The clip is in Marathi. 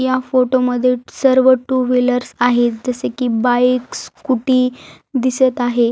या फोटो मध्ये सर्व टू व्हिलर्स आहेत जसे की बाइकस स्कुटी दिसत आहे.